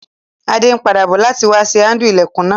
Adé n padà bo láti wa sé handle ilẹ́kùn náà